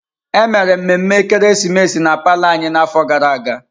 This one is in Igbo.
Emere mmemme ekeresimesi n'ime palọ anyị n'afọ gara aga.